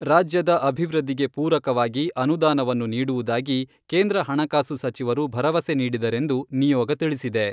ರಾಜ್ಯದ ಅಭಿವೃದ್ಧಿಗೆ ಪೂರಕವಾಗಿ ಅನುದಾನವನ್ನು ನೀಡುವುದಾಗಿ ಕೇಂದ್ರ ಹಣಕಾಸು ಸಚಿವರು ಭರವಸೆ ನೀಡಿದರೆಂದು ನಿಯೋಗ ತಿಳಿಸಿದೆ.